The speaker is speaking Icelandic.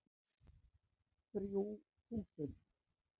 Þrjú þúsund